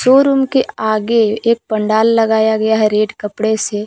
और उनके आगे एक पंडाल लगाया गया है रेड कपड़े से।